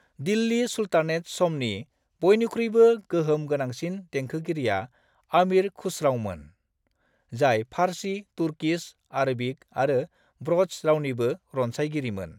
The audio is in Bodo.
दिल्ली सुल्तानेत समनि बयनिख्रुइबो गोहोम गोनांसिन देंखोगिरिआ अमीर खुसरावमोन, जाय फारसी, तुर्कीस, आरबीक आरो ब्रज रावनिबो रनसायगिरिमोन।